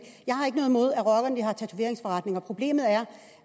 jeg har ikke noget imod at rockerne har tatoveringsforretninger problemet er